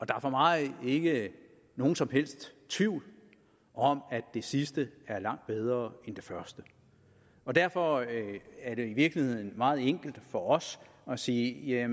der er for mig ikke nogen som helst tvivl om at det sidste er langt bedre end det første derfor er det i virkeligheden meget enkelt for os at sige at